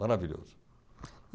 Maravilhoso.